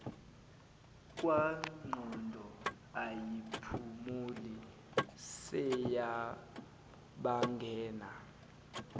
kwangqondo ayiphumuli seyabangena